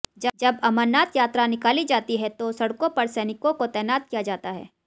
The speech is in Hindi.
जब अमरनाथ यात्रा निकाली जाती है तो सडक़ों पर सैनिकों को तैनात किया जाता है